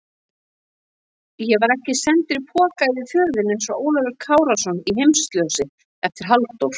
Ég var ekki sendur í poka yfir fjörðinn einsog Ólafur Kárason í Heimsljósi eftir Halldór